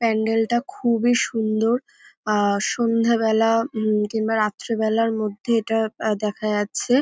প্যান্ডেল -টা খুবই সুন্দর আহ সন্ধ্যাবেলা উম কিংবা রাত্রিবেলার মধ্যে এটা দেখা যাচ্ছে।